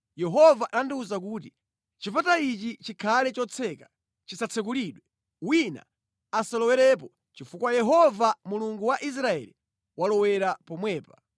Yehova anandiwuza kuti, “Chipata ichi chikhale chotseka, chisatsekulidwe. Wina asalowerepo chifukwa Yehova, Mulungu wa Israeli walowera pomwepa.